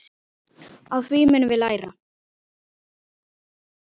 Á því munum við læra.